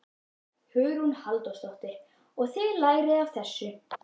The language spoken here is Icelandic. Hugrún Halldórsdóttir: Og þið lærið af þessu?